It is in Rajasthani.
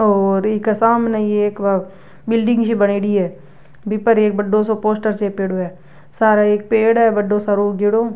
और इके सामने ही एक बिल्डिंग सी बनेड़ी है बी पर एक बड़ों सो पोस्टर चेपेडो है सारे एक पेड़ है बड़ों सारों उगेड़ो।